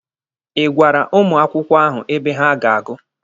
Ị gwara ụmụ akwụkwọ ahụ ebe ha ga-agụ?